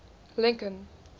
lincoln